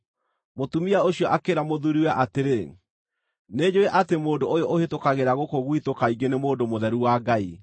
Mũtumia ũcio akĩĩra mũthuuriwe atĩrĩ, “Nĩnjũũĩ atĩ mũndũ ũyũ ũhĩtũkagĩra gũkũ gwitũ kaingĩ nĩ mũndũ mũtheru wa Ngai.